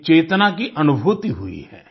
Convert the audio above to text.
एक चेतना की अनुभूति हुई है